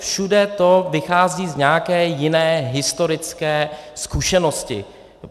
všude to vychází z nějaké jiné historické zkušenosti.